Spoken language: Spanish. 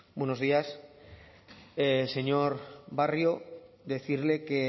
buenos días señor barrio decirle que